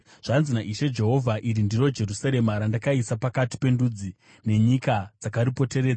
“Zvanzi naIshe Jehovha: Iri ndiro Jerusarema, randakaisa pakati pendudzi, nenyika dzakaripoteredza.